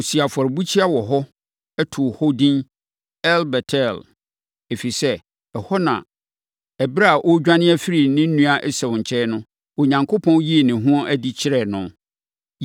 Ɔsii afɔrebukyia wɔ hɔ, too hɔ edin El-Bet-El, ɛfiri sɛ, ɛhɔ na ɛberɛ a ɔredwane afiri ne nua Esau nkyɛn no, Onyankopɔn yii ne ho adi kyerɛɛ no.